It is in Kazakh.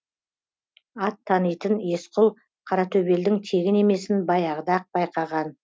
ат танитын есқұл қаратөбелдің тегін емесін баяғыда ақ байқаған